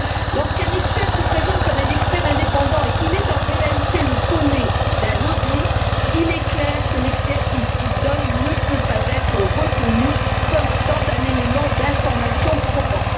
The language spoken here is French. Lorsqu'un expert se présente comme un expert indépendant et qu'il est en réalité le faux nez d'un lobby, il est clair que l'expertise qu'il donne ne peut pas être retenue comme étant un élément d'information probant.